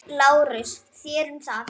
LÁRUS: Þér um það.